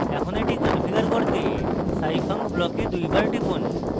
এখন এটি configure করতে scifunc block দুইবার টিপুন